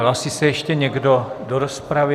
Hlásí se ještě někdo do rozpravy?